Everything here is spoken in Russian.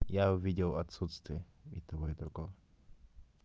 я увидел отсутствие и того и другого